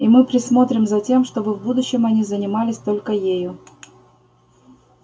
и мы присмотрим за тем чтобы в будущем они занимались только ею